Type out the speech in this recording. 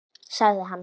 Fínt- sagði hann.